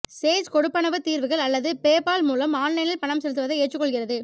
Sage கொடுப்பனவு தீர்வுகள் அல்லது பேபால் மூலம் ஆன்லைனில் பணம் செலுத்துவதை ஏற்றுக்கொள்கிறது